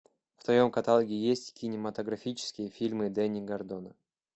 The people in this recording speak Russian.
в твоем каталоге есть кинематографические фильмы дэнни гордона